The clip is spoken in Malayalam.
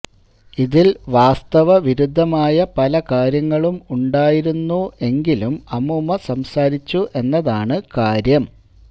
ഇതിൽ വാസ്തവ വിരുദ്ധമായ പലകാര്യങ്ങളും ഉണ്ടായിരുന്നു എങ്കിലും അമൂമ്മ സംസാരിച്ചു എന്നതാണ് കാര്യം